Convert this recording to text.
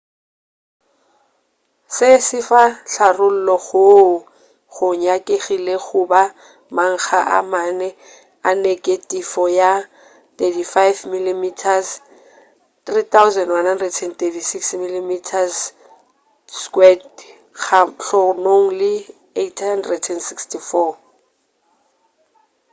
se sefa tharollo goo go nyakilego go ba makga a mane a neketifo ya 35 mm 3136 mm2 kgahlanong le 864